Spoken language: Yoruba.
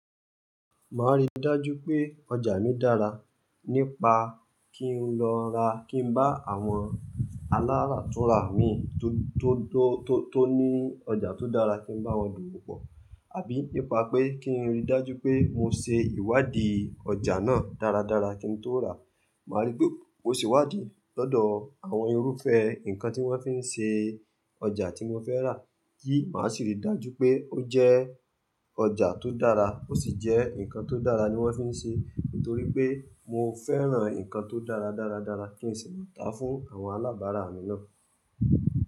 Máa rí dájú pé ọjà mi dára nípa kí n lọ ra, kí n bá àwọn aláràtúrà mi tó, tó, tó, tó ní ọjà tó dára kí n bá wọn dùùpọ̀. Àbí nípa pé kí n rí dájú pé mo ṣe ìwádìí ọjà náà dáradára kí n tó ràá. Màá rí pé mó se iwádìí lọ́dọ̀ àwọn irúfẹ́ nǹkan tí wọ́n fi ń ṣe ọjà tí mo fẹ́ rà. Yíì, màá sì rí dájú pé ó jẹ́ ọjà tó dára ó sì jẹ́ nǹkan tó dára ni wọ́n fi ń ṣe. Nítorí pé mo fẹ́ràn nǹkan tó dára dáradára kí n sì lè ta fún àwọn alábàárà mi náà.